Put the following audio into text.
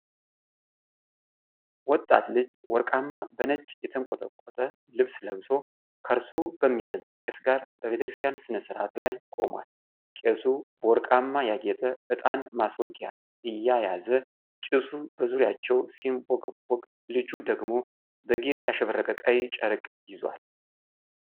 ወጣት ልጅ ወርቅማ በነጭ የተንቆጠቆጠ ልብስ ለብሶ፣ ከእርሱ በሚበልጥ ቄስ ጋር በቤተክርስቲያን ሥነ ሥርዓት ላይ ቆሟል። ቄሱ በወርቃማ ያጌጠ ዕጣን ማስወጊያ እየያዘ ጭሱ በዙሪያቸው ሲንቦገቦግ፣ ልጁ ደግሞ በጌጥ ያሸበረቀ ቀይ ጨርቅ ይዟል።